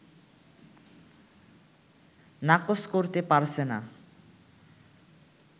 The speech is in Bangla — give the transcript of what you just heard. নাকচ করতে পারছে না